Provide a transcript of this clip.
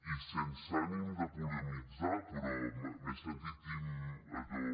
i sense ànim de polemitzar però m’he sentit allò